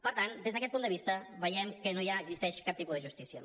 per tant des d’aquest punt de vista veiem que no hi ha ni existeix cap tipus de justícia